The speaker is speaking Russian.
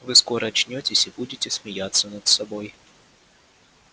вы скоро очнётесь и будете смеяться над собой